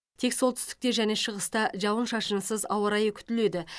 тек солтүстікте және шығыста жауын шашынсыз ауа райы күтіледі